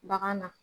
Bagan na